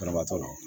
Banabaatɔ la